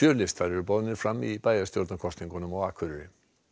listar eru boðnir fram í bæjarstjórnarkosningum á Akureyri